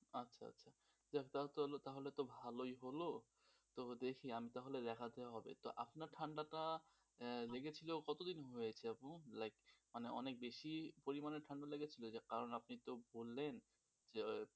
যাক তাহলে তো ভালোই হল তবে দেখি আমি তাহলে দেখাতে হবে তা আপনার ঠান্ডা টা লেগেছিল কতদিন হয়েছে আপু? like মানে অনেক বেশি পরিমানে ঠাণ্ডা লেগেছিল কারণ আপনি তো বললেন,